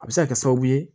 A bɛ se ka kɛ sababu ye